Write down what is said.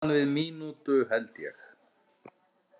Innan við mínútu, held ég.